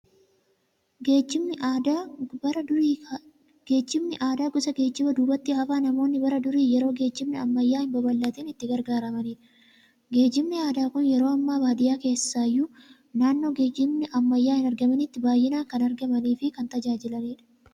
Geejjibni aadaa gosa geejjiba duubatti hafaa, namoonni bara duri yeroo geejjibni ammayyaa hin babal'attin itti gargaaramaniidha. Geejjibni aadaa Kun yeroo ammaas baadiyyaa keessaayyuu naannoo geejibni ammayyaa hin argamintti baay'inaan kan argamaniifi kan tajaajilaniidha.